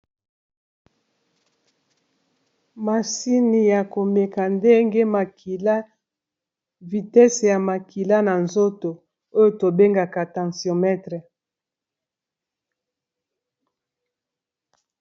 masini ya komeka ndenge makila vitese ya makila na nzoto oyo tobengaka tention metre